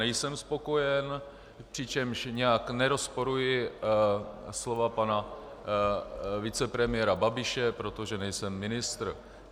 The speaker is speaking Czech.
Nejsem spokojen, přičemž nijak nerozporuji slova pana vicepremiéra Babiše, protože nejsem ministr.